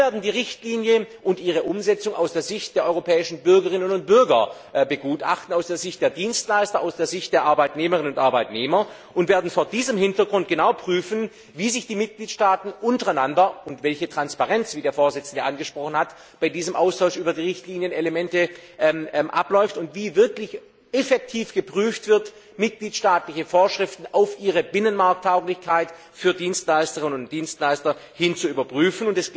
Wir werden die Richtlinie und ihre Umsetzung aus der Sicht der europäischen Bürgerinnen und Bürger begutachten, aus der Sicht der Dienstleister, aus der Sicht der Arbeitnehmerinnen und Arbeitnehmer und werden vor diesem Hintergrund genau prüfen, wie sich die Mitgliedstaaten untereinander verhalten und welche Transparenz wie der Vorsitzende dies angesprochen hat bei diesem Austausch über die Richtlinienelemente vorliegt und wie effektiv dabei vorgegangen wird, mitgliedstaatliche Vorschriften auf ihre Binnenmarkttauglichkeit für Dienstleisterinnen und Dienstleister hin zu überprüfen.